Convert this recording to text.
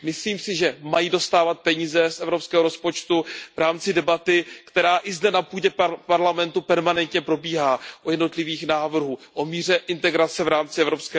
Myslím si, že mají dostávat peníze z evropského rozpočtu v rámci debaty, která i zde na půdě Parlamentu permanentně probíhá u jednotlivých návrhů o míře integrace v rámci EU.